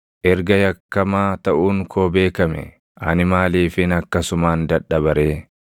Erga yakkamaa taʼuun koo beekamee, ani maaliifin akkasumaan dadhaba ree?